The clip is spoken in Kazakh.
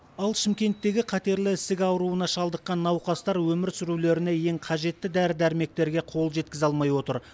ал шымкенттегі қатерлі ісік ауруына шалдыққан науқастар өмір сүрулеріне ең қажетті дәрі дәрмектерге қол жеткізе алмай отыр